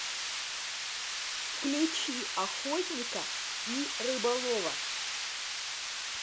включи охотника и рыболова